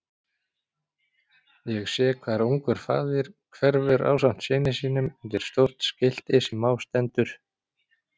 Ég sé hvar ungur faðir hverfur ásamt syni sínum undir stórt skilti sem á stendur